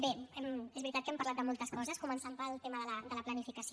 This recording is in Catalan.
bé és veritat que hem parlat de moltes coses començant pel tema de la planificació